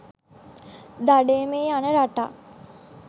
දඩයමේ යන රටක්